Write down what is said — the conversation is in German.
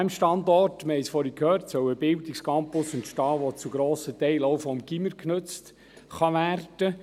An diesem Standort – wir haben es vorhin gehört – soll ein Bildungscampus entstehen, der zu grossen Teilen auch vom Gymnasium genutzt werden kann.